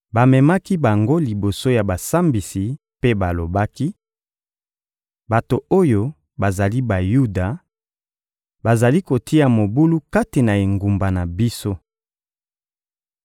Bamemaki bango liboso ya basambisi mpe balobaki: — Bato oyo bazali Bayuda; bazali kotia mobulu kati na engumba na biso.